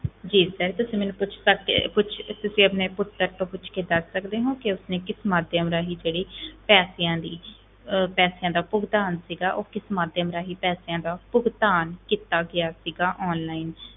ਜੀ sir ਤੁਸੀਂ ਮੈਨੂੰ ਪੁੱਛ ਸਕਦੇ ਪੁੱਛ ਤੁਸੀਂ ਆਪਣੇ ਪੁੱਤਰ ਤੋਂ ਪੁੱਛ ਕੇ ਦੱਸ ਸਕਦੇ ਹੋ ਕਿ ਉਸਨੇ ਕਿਸ ਮਾਧਿਅਮ ਰਾਹੀਂ ਜਿਹੜੀ ਪੈਸਿਆਂ ਦੀ ਅਹ ਪੈਸਿਆਂ ਦਾ ਭੁਗਤਾਨ ਸੀਗਾ, ਉਹ ਕਿਸ ਮਾਧਿਅਮ ਰਾਹੀਂ ਪੈਸਿਆਂ ਦਾ ਭੁਗਤਾਨ ਕੀਤਾ ਗਿਆ ਸੀਗਾ online 'ਚ।